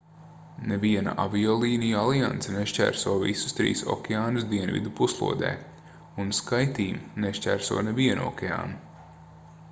neviena aviolīniju alianse nešķērso visus trīs okeānus dienvidu puslodē un skyteam” nešķērso nevienu okeānu